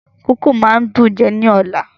Kókò máa dùn ún jẹ ní ọ̀la.